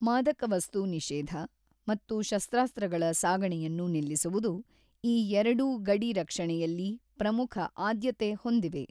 ಮಾದಕವಸ್ತು ನಿಷೇಧ ಮತ್ತು ಶಸ್ತ್ರಾಸ್ತ್ರಗಳ ಸಾಗಣೆಯನ್ನು ನಿಲ್ಲಿಸುವುದು ಈ ಎರಡೂ ಗಡಿ ರಕ್ಷಣೆಯಲ್ಲಿ ಪ್ರಮುಖ ಆದ್ಯತೆ ಹೊಂದಿವೆ.